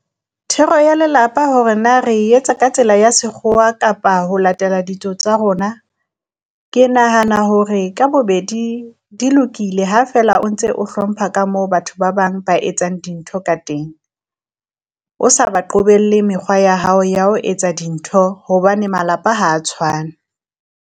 Thero ya lelapa hore na re etsa ka tsela ya sekgowa kapa ho latela ditso tsa rona. Ke nahana hore ka bobedi di lokile ha feela o ntse o hlompha ka moo batho ba bang ba etsang dintho ka teng, o sa ba qobelle mekgwa ya hao ya ho etsa dintho, hobane malapa ha tshwane.